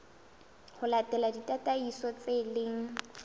ho latela ditataiso tse leng